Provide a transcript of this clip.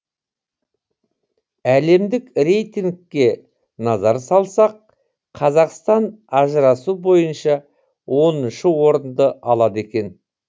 әлемдік рейтингке назар салсақ қазақстан ажырасу бойынша оныншы орынды алады екен